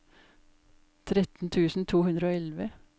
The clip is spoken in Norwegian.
tretten tusen to hundre og elleve